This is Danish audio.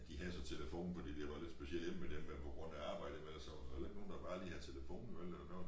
De havde så telefon fordi de var lidt specielle hjemme ved dem men på grund af arbejde men eller så var der ikke nogen der bare lige havde telefon vel eller noget